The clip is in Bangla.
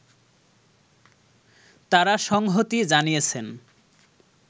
তারা সংহতি জানিয়েছেন